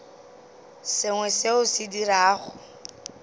sengwe seo o se dirago